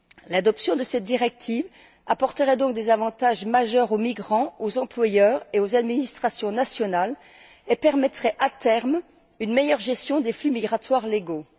L'adoption de cette directive apportera donc des avantages majeurs aux migrants, aux employeurs et aux administrations nationales et permettra, à terme, une meilleure gestion des flux migratoires légaux.